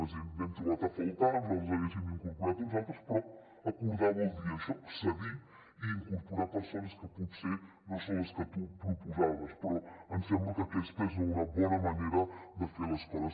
és a dir n’hem trobat a faltar nosaltres n’hi haguéssim incorporat uns altres però acordar vol dir això cedir i incorporar persones que potser no són les que tu proposaves però ens sembla que aquesta és una bona manera de fer les coses